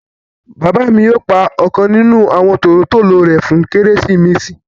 Bàbà mi yóò pá ọ̀kan nínu àwọn tólotòlò rẹ fún Keresimesì.